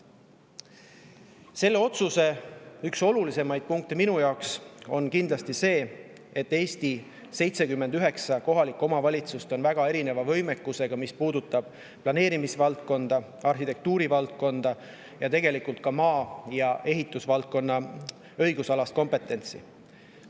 Selle otsuse üks olulisemaid punkte minu jaoks on kindlasti see, et Eesti 79 kohalikku omavalitsust on väga erineva võimekusega, mis puudutab planeerimisvaldkonda, arhitektuurivaldkonda ning tegelikult ka maa‑ ja ehitusvaldkonna õigusalast kompetentsi.